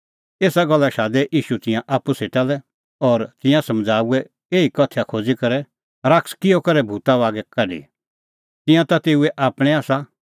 एसा गल्ला लै शादै ईशू तिंयां आप्पू सेटा लै और तिंयां समझ़ाऊऐ इहअ उदाहरण बोली शैतान किहअ करै सका भूत बागै काढी तिंयां ता तेऊए आपणैं आसा